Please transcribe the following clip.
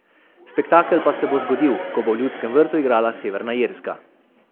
Spektakel pa se bo zgodil, ko bo v Ljudskem vrtu igrala Severna Irska.